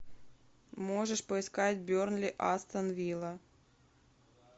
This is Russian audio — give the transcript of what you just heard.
можешь поискать бернли астон вилла